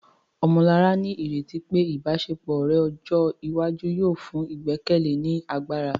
Ọmọlará ní ìrètí pé ìbáṣepọ̀ ọ̀rẹ́ ọjọ́ iwájú yóò fún ìgbẹ́kẹ̀lé ní agbára